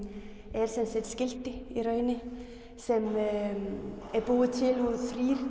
er sem sagt skilti í rauninni sem er búið til úr